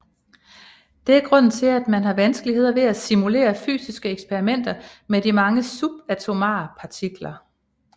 Det er grunden til at man har vanskelighed ved at simulere fysiske eksperimenter med mange subatomare partikler